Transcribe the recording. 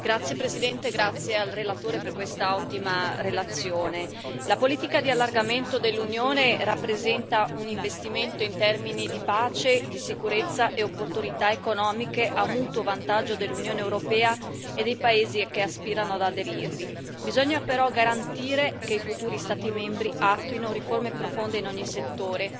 Signora Presidente, onorevoli colleghi, ringrazio il relatore per questa ottima relazione. La politica di allargamento dell'Unione rappresenta un investimento in termini di pace, sicurezza e opportunità economiche, a mutuo vantaggio dell'Unione europea e dei paesi che aspirano ad aderirvi. Bisogna però garantire che i futuri Stati membri attuino riforme profonde in ogni settore,